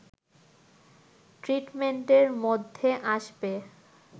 ট্রিটমেন্টের মধ্যে আসবে